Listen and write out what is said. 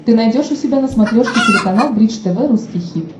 ты найдешь у себя на смотрешке телеканал бридж тв русский хит